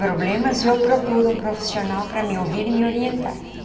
problemas, eu procuro um profissional para me ouvir e me orientar.